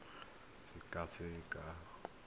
ya gago e tla sekasekwa